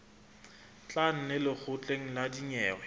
tla neng lekgotleng la dinyewe